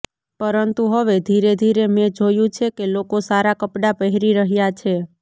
પરંતુ હવે ધીરે ધીરે મેં જોયું છે કે લોકો સારા કપડાં પહેરી રહ્યા છે